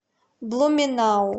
блуменау